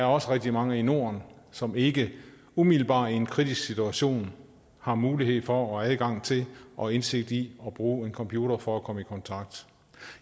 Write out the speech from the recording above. også rigtig mange i norden som ikke umiddelbart i en kritisk situation har mulighed for og adgang til og indsigt i at bruge en computer for at komme i kontakt